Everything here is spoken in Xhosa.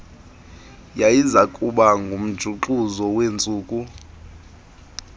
yayizakuba ngumjuxuzo wentsuku